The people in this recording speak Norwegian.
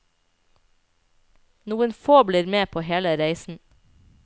Noen få blir med på hele reisen.